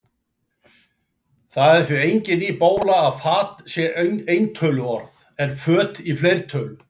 Það er því engin ný bóla að fat sé eintöluorð, en föt í fleirtölu.